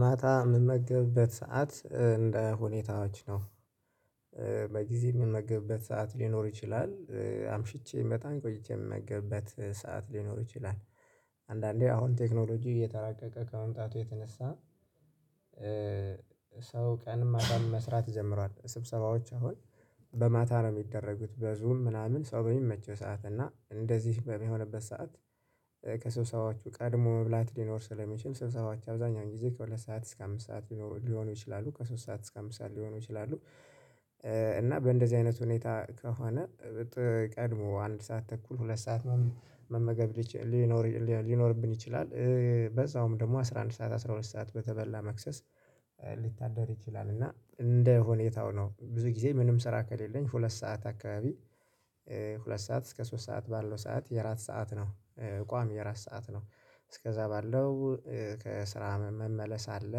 ማታ የምመገብበት ሰዓት እንደ ሁኔታዎች ነው። በጊዜ የምመግብበት ሰዓት ሊኖር ይችላል። አምሽቼ በጣም ቆይቼ የምመገብበት ሰዓት ሊኖር ይችላል። አንዳንዴ አሁን ቴክኖሎጂ እየተራቀቀ ከመምጣቱ የተነሳ። ሰው ቀን ማታም መስራት ጀምሯል ስብሰባዎች አሁን በማታ ነው የሚደረጉት በዙም ምናምን ሰው በሚመቸው ሰዓት እና እንደዚህ በሚሆንበት ሰዓት። ከሰብሰባዎች ቀድሞ መብላት ሊኖር ስለሚችል ስብሰባዎች አብዛኛውን ጊዜ ከሁለት ሰዓት እስከ አምስት ሰዓት ሊሆኑ ይችላሉ ከሶስት ሰዓት እስከ አምስት ሰዓት ሊሆኑ ይችላሉ። እና በእንደዚህ አይነት ሁኔታ ከሆነ ቀድሞ አንድ ሰዓት ተኩል ሁለት ሰዓት መመገብ ሊኖር ሊኖርብን ይችላል። በዛውም ደግሞ አስራ አንድ ሰዓት አስራ ሁለት ሰዓት በተበላ መክሰስ ሊታደር ይችላል እና እንደ ሆኔታው ነው። ብዙ ጊዜ ምንም ስራ ከሌለኝ ሁለት ሰዓት አካባቢ ሁለት ሰዓት እስከ ሶስት ሰዓት ባለው ሰዓት የእራት ሰዓት ነው። ቋሚ የራስ ሰዓት ነው እስከዛ ባለው ከስራ መመለስ አለ።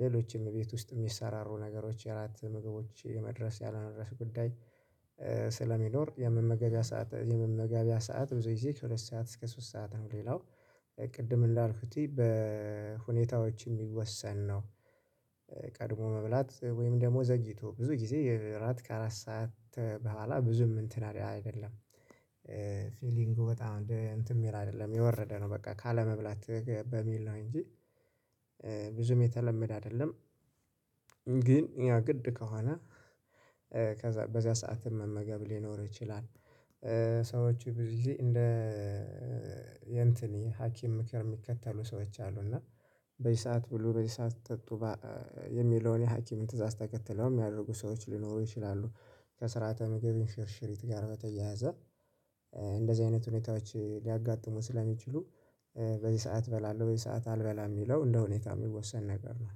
ሌሎችም እቤት ውስጥ የሚሰራሩ ነገሮች የራት ምግቦች የመድረስ ያለመድረስ ጉዳይ። ስለሚኖር የመመገቢያ ሰዓት የመመገቢያ ሰዓት ብዙ ጊዜ ከሁለት ሰዓት እስከ ሶስት ሰዓት ነው። ሌላው ቅድም እንዳልኩት በሁኔታዎች የሚወሰን ነው። ቀድሞ መብላት ወይም ደግሞ ዘግይቶ ብዙ ጊዜ እራት ከአራት ሰዓት በኋላ ብዙም እንትን አይደለም። ፊሊንጉ በጣም እንትን የሚል አይደለም የወረደ ነው በቃ ካለመብላት በሚል ነው እንጂ። ብዙም የተለመደ አይደለም። ግን ያ ግድ ከሆነ ከዛ በዚያ ሰዓትም መመገብ ሊኖር ይችላል። ሰዎች ብዙ ጊዜ እንደ የንትን የሀኪም ምክር የሚከተሉ ሰዎች አሉ እና በዚህ ሰዓት ብሉ በዚህ ሰዓት ጠጡ የሚለውን የሀኪምን ትእዛዝ ተከትለው የሚያደርጉ ሰዎች ሊኖሩ ይችላሉ። ከስርዓተ ምግብን እንሽርሽሪት ጋር በተያያዘ እንደዚህ አይነት ሁኔታዎች ሊያጋጥሙን ስለሚችሉ በዚህ ሰዓት እበላለሁ በዚህ ሰዓት አልበላም የሚለው እንደሁኔታ የሚወሰን ነገር ነው።